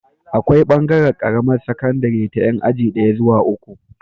Akwai bangaran Karamar sakandari ta Yan aji daya zuwa uku